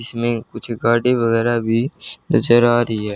इसमें कुछ गाड़ी वगैरा भी नजर आ रही हैं।